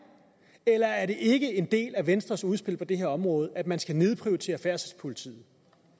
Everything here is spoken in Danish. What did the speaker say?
eller er det ikke en del af venstres udspil på det her område at man skal nedprioritere færdselspolitiet